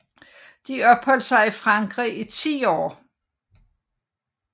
De opholdt sig i Frankrig i ti år